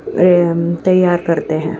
तैयार करते है।